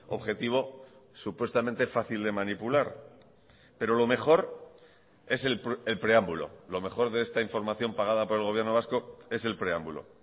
objetivo supuestamente fácil de manipular pero lo mejor es el preámbulo lo mejor de esta información pagada por el gobierno vasco es el preámbulo